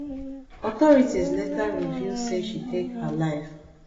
authorities later reveal say she take her life